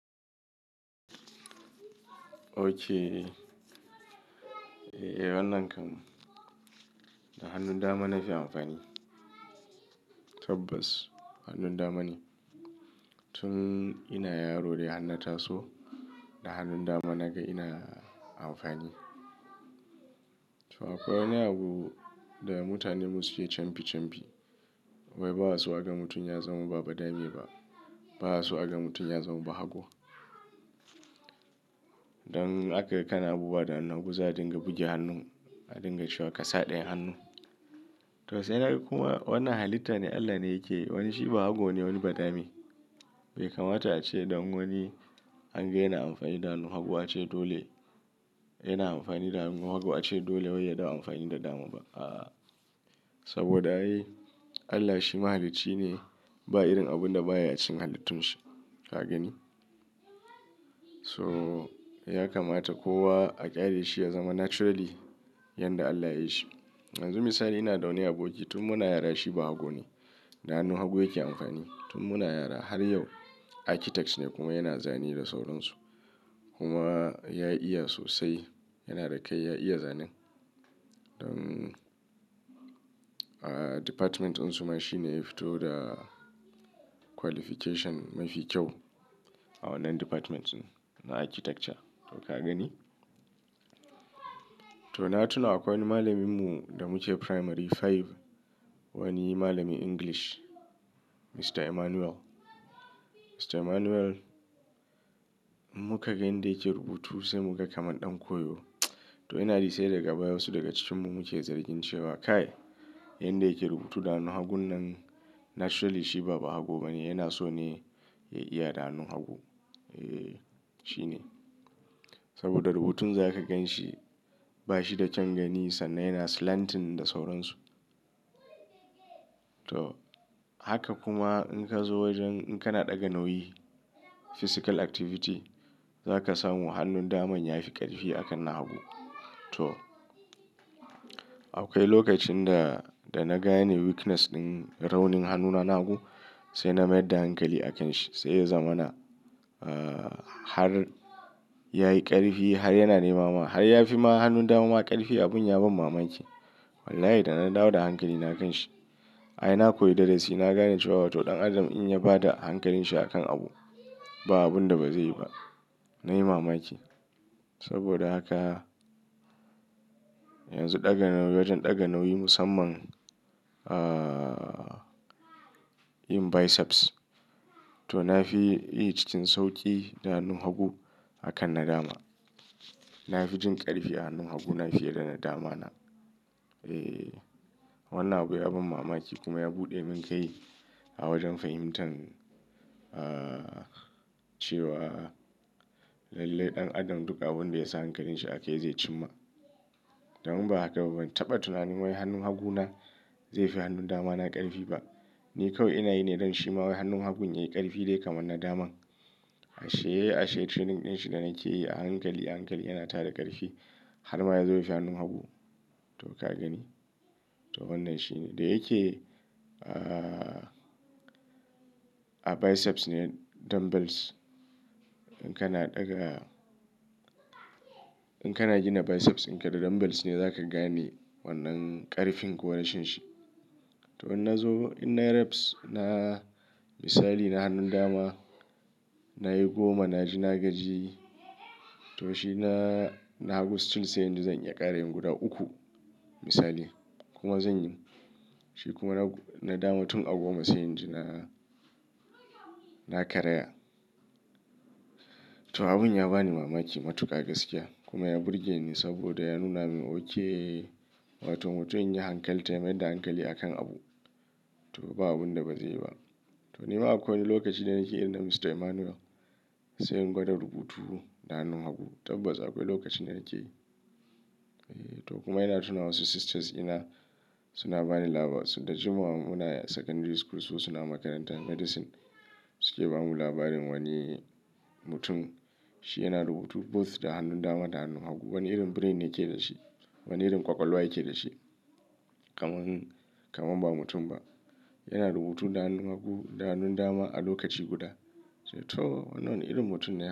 Ok. Eh, eh wannan kan. Da hannun dama na fi amfani. Tabbas hannun dama ne. Tun ina yaro dai hannata so, da hannun dama na ga ina amfani. To akwai wani abu da mutanenmu suke camfi camfi. Wai ba a su aga mutum ya zama babba dame ba. Ba a su aga mutum ya zama haƙo. Don in akaga kana abubuwa da hannun hagu, za adinga buge hannun, a dinga cewa ka sa ɗayan hannun. To sai na ga kuma wannan halitta ne Allah ne yake. Wani shi ba hago ne wani ba dame. Bai kamata ace don wani an ga yana amfani da hannu, hagu ace dole. Yana amfani da hannu, hagu ace dole wai ya dawo amfani da dama ba. Aaa. Saboda ai Allah shi mahalici ne, ba irin abun da baya a cikin halittun shi. Ka gani? So ya kamata kowa a ƙyale shi ya zama naturally yanda Allah ya yi shi. Yanzu misali ina da wani aboki tun muna yara shi ba haƙo ne. Da hannun haƙo yake amfani. Tun muna yara har yau architects ne kuma yana zane da sauransu. Kuma ya iya sosai. Yana da kai ya iya zanen. Don, aa department din su ma shi ne ya fito da qualification mafi kyau a wannan department na architecture. To ka gani? To na tuna akwai malaminmu da muke primary five. Wani malami English, Mr. Emmanuel. Mr. Emmanuel mu ka ga yanda yake rubutu sai muga kama ɗan koyo. To ina jisai daga baya wasu daga cikinmu muke zargi cewa kai yanda yake rubutu da hannun hagun nan naturally shi ba, ba hago ba ne. Yana so ne ya iya da hannun haƙo. Eh shi ne. Saboda rubutunsa za ka gan shi. Ba shi da kyan gani sannan yana slanting da sauransu. To haka kuma in ka zo wajen in kana ɗaga nauyi physical activity za ka samu hannun daman ya fi ƙarfi a kan na haƙo. To akwai lokacin da, da na gane weakness ɗin raunin hannuna na hago. Sai na mayar da hankali a kan shi sai ya zama na, ah har ya yi ƙarfi har yana nemama. Har ya fi ma hannun dama ma ƙarfi. Abin ya ban mamaki. Wallahi da na dawo da hankali na kan shi. Ai na koyi darasi na gane cewa to ɗan adam in ya bada hankalinshi a kan abu, ba abun da ba zai yi ba. Na yi mamaki. Saboda haka yanzu ɗaga nauyi, wajen ɗaga nauyi musamman ah yin biceps. To na fi yi cikin sauƙi da hannun haƙo a kan na dama. Na fi jin ƙarfi a hannun haguna fiye da na damana. Eh wannan abu ya ban mamaki kuma ya buɗe min kai a wajen fahimtar ah cewa lallai ɗan adam duk abun da ya sa hankalinshi a kai zai cimma. Domin ba haka ba, ban taɓa tunanin wai hannun haguna zai fi hannun damana ƙarfi ba. Ni kawai ina yi ne don shi ma wai hannun hagun ya yi ƙarfi dai kamar na daman. Ashe, ashe training ɗinshi da nake yi a hankali a hankali yana tara ƙarfi har ma ya zo ya fi hannun haƙo. To ka gani? To wannan shine. Da yake ah a biceps ne dumbbells in kana ɗaga. In kana gina biceps in ka da dumbbells ne za ka gane wannan ƙarfin ko warashin shi. To in na zo ina reps na misali na hannun dama nayi goma naji na gaji. To shi na, na hagu still sai zan iya ƙara yin guda uku misali kuma zan yi. Shi kuma na, na dama tun a goma sai i jina, na karaya. To abun ya bani mamaki matuƙa gaskiya kuma ya burge ni saboda ya nuna min ok wai to mutum in ya yi hankal, ta mayar da hankali a kan abu to ba abun da ba zai yi ba. To nima akwai wani lokacin da nake irin na Mr. Emmanuel sai in gwada rubutu da hannun haƙo. Tabbas akwai lokacin da nake yi. Eh to kuma ina tuna wasu sisters ina suna bani labaru. Sun daji mu muna a secondary school su suna makarantar medicine su ke ba mu labarin wani mutum. Shi yana rubutu both da hannun dama da hannun haƙo. Wani irin brain yake dashi. Wani irin ƙwaƙwalwa yake dashi. Kaman, kaman ba mutum ba. Yana rubutu da hannun hago da hannun dama a lokaci guda. To wannan wani irin mutum ne.